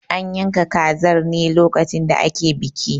An yanka kazar ne lokacin da ake biki.